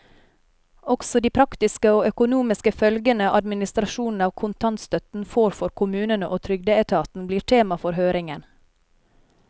Også de praktiske og økonomiske følgene administrasjonen av kontantstøtten får for kommunene og trygdeetaten, blir tema for høringen.